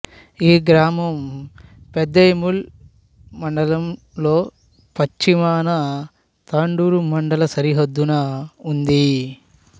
ఈ గ్రామం పెద్దేముల్ మండలంలో పశ్చిమాన తాండూరు మండల సరిహద్దున ఉంది